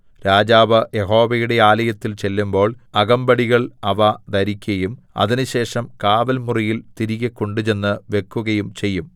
രാജാവ് യഹോവയുടെ ആലയത്തിൽ ചെല്ലുമ്പോൾ അകമ്പടികൾ അവ ധരിക്കയും അതിനുശേഷം കാവൽ മുറിയിൽ തിരികെ കൊണ്ടുചെന്ന് വെക്കുകയും ചെയ്യും